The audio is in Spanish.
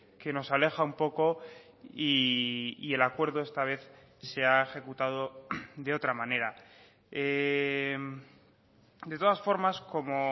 que nos aleja un poco y el acuerdo esta vez se ha ejecutado de otra manera de todas formas como